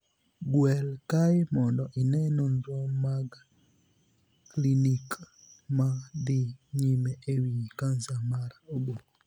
Gwel kae mondo ine nonro mag klinik ma dhi nyime e wii kansa mar oboo.